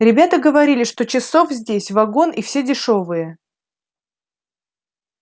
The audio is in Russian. ребята говорили что часов здесь вагон и все дешёвые